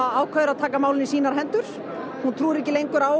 ákveður að taka málin í sínar hendur trúir ekki lengur á